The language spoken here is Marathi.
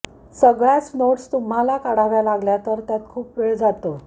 सगळ्याच नोट्स तुम्हाला काढाव्या लागल्या तर त्यात खूप वेळ जातो